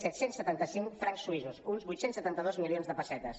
set cents i setanta cinc francs suïssos uns vuit cents i setanta dos milions de pessetes